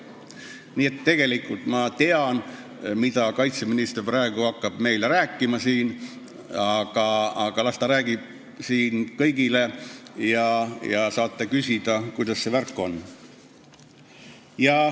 Nii et tegelikult ma tean, mida kaitseminister hakkab meile praegu rääkima, aga las ta räägib seda siin kõigile ja siis saate küsida, kuidas selle värgiga on.